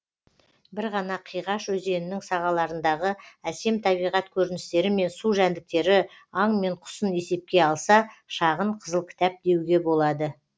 бір ғана қиғаш өзенінің сағаларындағы әсем табиғат көріністері мен су жәндіктері аң мен құсын есепке алса шағын қызыл кітап деуге болады